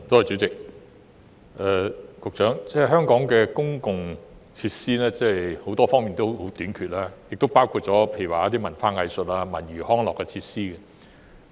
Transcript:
主席，香港各類公共設施都十分短缺，包括文化藝術及文娛康樂設施。